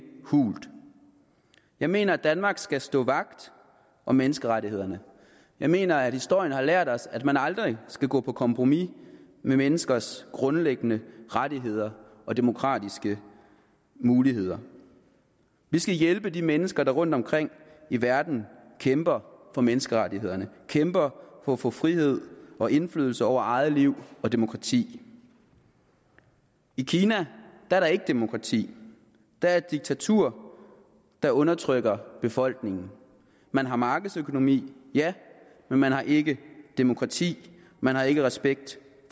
hult jeg mener danmark skal stå vagt om menneskerettighederne jeg mener at historien har lært os at man aldrig skal gå på kompromis med menneskers grundlæggende rettigheder og demokratiske muligheder vi skal hjælpe de mennesker der rundtomkring i verden kæmper for menneskerettighederne kæmper for at få frihed og indflydelse over eget liv og demokrati i kina er der ikke demokrati der er et diktatur der undertrykker befolkningen man har markedsøkonomi ja men man har ikke demokrati man har ikke respekt